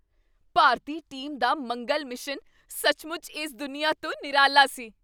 ਭਾਰਤੀ team ਦਾ ਮੰਗਲ mission ਸੱਚਮੁੱਚ ਇਸ ਦੁਨੀਆ ਤੋਂ ਨਿਰਾਲਾ ਸੀ!